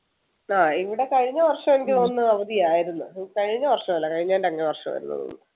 ആഹ് ഇവിടെ കഴിഞ്ഞ വർഷം എനിക്ക് തോന്നുന്നു അവധി ആയിരുന്നു കഴിഞ്ഞ വർഷമല്ല കഴിഞ്ഞതിൻ്റെ അങ്ങേ വർഷം ആണെന്ന് തോന്നുന്നു